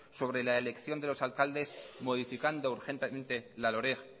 sobre la elección de los alcaldes modificando urgentemente la loreg